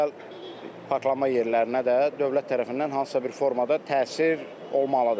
Özəl parklanma yerlərinə də dövlət tərəfindən hansısa bir formada təsir olmalıdır.